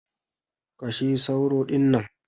Kashe sauro dinnan!